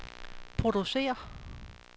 producerer